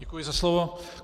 Děkuji za slovo.